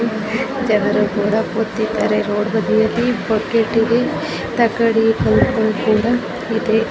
ಜನರು ಕೂಡ ಕೂತಿದ್ದಾರೆ ರೋಡು ಬದಿಯಲ್ಲಿ ಬಕೇಟುಗೆ ತಕ್ಕಡಿ ಕಲ್ಲು ಕೂಡ ಇದೆ.